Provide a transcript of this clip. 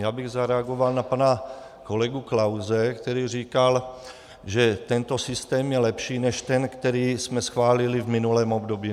Já bych zareagoval na pana kolegu Klause, který říkal, že tento systém je lepší než ten, který jsme schválili v minulém období.